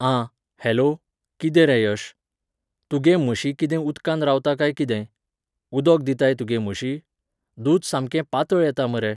आं, हॅलो, कितें रे यश, तुगे म्हशी कितें उदकांत रावता कांय कितें? उदोक दिताय तुगे म्हशी? दूद सामकें पातळ येता मरे